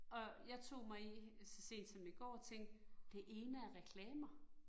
Og jeg tog mig i så sent som i går at tænke, det ene er reklamer